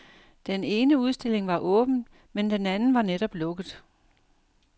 Den ene udstilling var åben, men den anden var netop lukket.